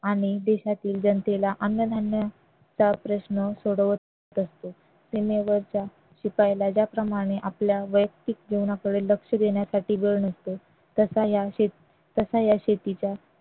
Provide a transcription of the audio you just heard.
आणि देशातील जनतेला अन्नधान्य चा प्रश्न सोडवत असतो सीमेवरच्या शिपायाला ज्याप्रमाणे आपल्या वैयक्तिक जीवनाकडे लक्ष देण्यासाठी वेळ नसतो तसा या शेती तसा या शेतीच्या